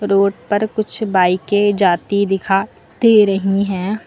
Road पर कुछ बाइके जाती दिखा दे रही हैं।